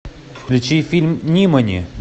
включи фильм нимани